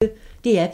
DR P1